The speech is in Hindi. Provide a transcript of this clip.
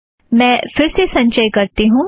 मैं फिर से संचय करती हूँ